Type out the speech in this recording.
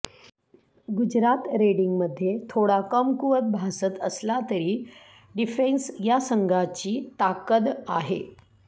गुजरात रेडींगमध्ये थोडा कमकुवत भासत असला तरी डिफेन्स या संघाची ताकद आहे